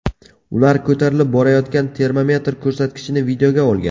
Ular ko‘tarilib borayotgan termometr ko‘rsatkichini videoga olgan.